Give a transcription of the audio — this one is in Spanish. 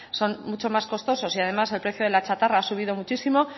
son mucho más costosos y además el precio de la chatarra ha subido muchísimo